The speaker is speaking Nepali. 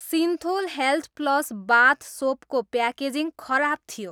सिन्थोल हेल्थ प्लस बाथ सोपको प्याकेजिङ खराब थियो।